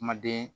Kumaden